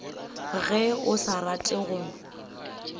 ge o sa rate go